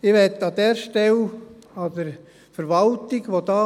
Ich möchte an dieser Stelle der Verwaltung für ihre Arbeit bestens danken.